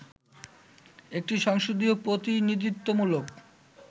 একটি সংসদীয় প্রতিনিধিত্বমূলক